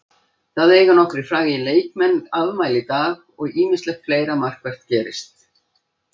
Það eiga nokkrir frægir leikmann afmæli í dag og ýmislegt fleira markvert gerst.